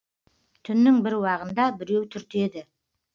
түннің бір уағында біреу түртеді